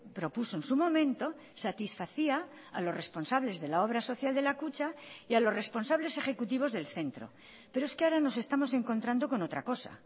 propuso en su momento satisfacía a los responsables de la obra social de la kutxa y a los responsables ejecutivos del centro pero es que ahora nos estamos encontrando con otra cosa